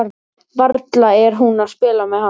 Varla er hún að spila með hann?